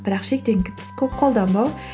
бірақ шектен тыс қолданбау